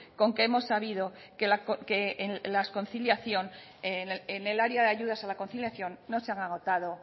con que hemos sabido que en el área de ayudas a la conciliación no se ha agotado